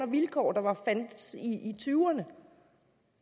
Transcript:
vilkår der fandtes i tyverne